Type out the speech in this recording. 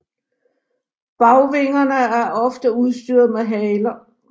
Bagvingerne er ofte udstyret med haler